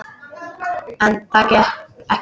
En það gekk ekki.